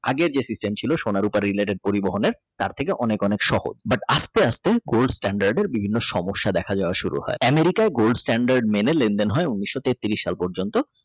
আগে যে System ছিল সোনার অভাব পরিবহনের তার থেকে অনেক অনেক সহজ but আস্তে আস্তে গোল Standard বিভিন্ন সমস্যা দেখা দেওয়া শুরু হয় America আই Gold stand মেনে লেনদেন হয় ঊনিশো তেত্রিশ সাল পর্যন্ত